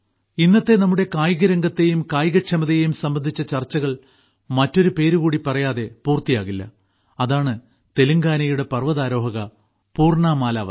ഇന്നത്തെ നമ്മുടെ കായികരംഗത്തെയും കായികക്ഷമതയെയും സംബന്ധിച്ച ചർച്ചകൾ മറ്റൊരു പേര് കൂടി പറയാതെ പൂർത്തിയാകില്ല അതാണ് തെലങ്കാനയുടെ പർവതാരോഹക പൂർണ മാലാവത്